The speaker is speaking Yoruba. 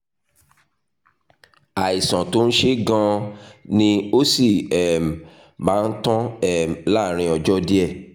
àìsàn tó ń ṣe é gan-an ni ó sì um máa tán um láàárín ọjọ́ díẹ̀